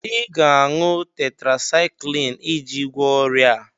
Ị ga-aṅụ tetrasaịkịlịn iji gwọọ ọrịa a